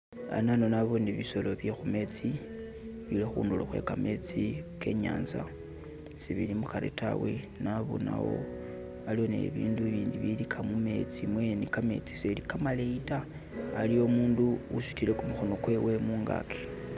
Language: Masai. Anano naboone bisolo bye khumetsi bili khundulo khwe kametsi ke inyanza , sibili mukari taawe , nabonawo aliwo ne bibindu ibindi ibilika mumeetsi mwene, kametsi seli kamaleyi ta, aliwo umundu usutile khumukhono kwewo mungaki